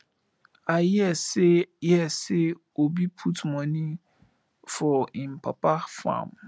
i hear say hear say obi put money for im papa farm